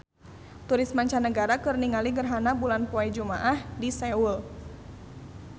Turis mancanagara keur ningali gerhana bulan poe Jumaah di Seoul